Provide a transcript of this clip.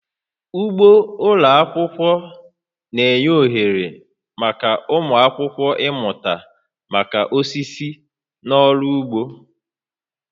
Ugbo ụlọ akwụkwọ na-enye ohere maka ụmụ akwụkwọ ịmụta maka osisi na ọrụ ugbo